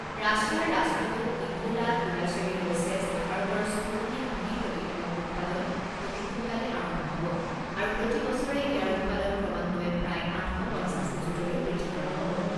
ৰাছিয়াৰ ৰাষ্ট্ৰদূত নিকোলা কুদাশেৱে কৈছে যে ভাৰতৰ স্পুটনিক ভি প্ৰতিষেধক উৎপাদন অতি সোনকালেই আৰম্ভ হ'ব আৰু প্ৰতি বছৰে ইয়াৰ উৎপাদন ক্ৰমান্বয়ে প্ৰায় আঠ শ পঞ্চাছ নিযুতলৈ বৃদ্ধি কৰা হ'ব।